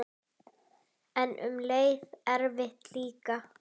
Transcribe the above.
En um leið erfitt líka.